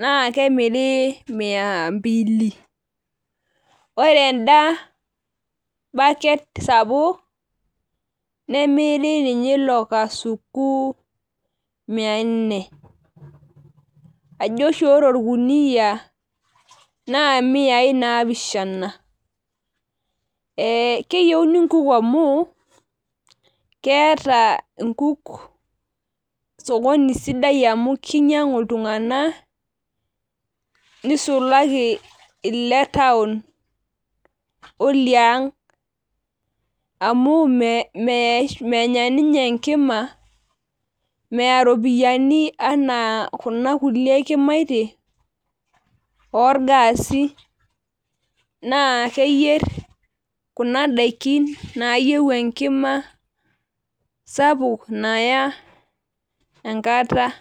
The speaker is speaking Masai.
naa kemiri mia mbili ,ore endabaket sapuk , nemiri ninye ilokasuku mia nne, ee ajo oshi ore orkunia naa miayi napishana. Ee keyieuni nkuk amu keeta nkuk sokoni sidai amu kinyiangu iltunganak nisulaki iletown oliang amu menya ninye enkima , meya ropiyiani anaa kuna kulie kimaitie orgaasi , naa keyier kuna daiki nayieu enkima sapuk naya kata.